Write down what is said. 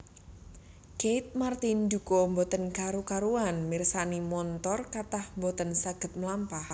Keith Martin duka mboten karu karuan mirsani montor kathah mboten saget mlampah